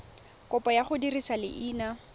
kopo ya go dirisa leina